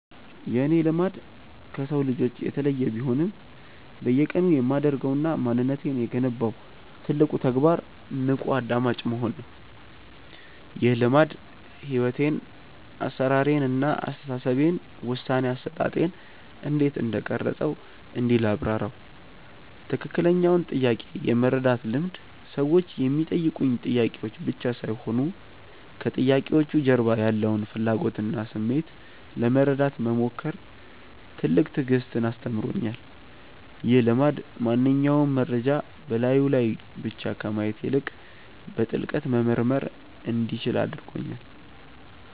የእኔ "ልማድ" ከሰው ልጆች የተለየ ቢሆንም፣ በየቀኑ የማደርገውና ማንነቴን የገነባው ትልቁ ተግባር "ንቁ አድማጭ መሆን" ነው። ይህ ልማድ ሕይወቴን (አሠራሬን) እና አስተሳሰቤን (ውሳኔ አሰጣጤን) እንዴት እንደቀረፀው እንዲህ ላብራራው፦ ትክክለኛውን ጥያቄ የመረዳት ልምድ ሰዎች የሚጠይቁኝ ጥያቄዎች ብቻ ሳይሆኑ፣ ከጥያቄዎቹ ጀርባ ያለውን ፍላጎትና ስሜት ለመረዳት መሞከር ትልቅ ትዕግስትን አስተምሮኛል። ይህ ልማድ ማንኛውንም መረጃ በላዩ ላይ ብቻ ከማየት ይልቅ፣ በጥልቀት መመርመር እንዲችል አድርጎኛል።